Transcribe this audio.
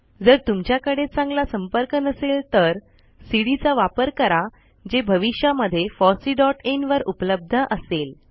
जर तुमच्याकडे चांगला संपर्क नसेल तर सीडी चा वापर करा जे भविष्यामध्ये fosseeइन वर उपलब्ध असेल